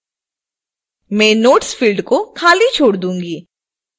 मैं notes field को खाली छोड़ दूंगी